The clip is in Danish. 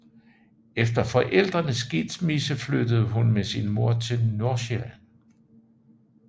Efter forældrenes skilsmisse flyttede hun med sin mor til Nordsjælland